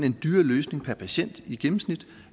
en dyrere løsning per patient i gennemsnit